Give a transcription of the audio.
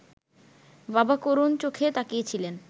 বাবা করুণ চোখে তাকিয়েছিলেন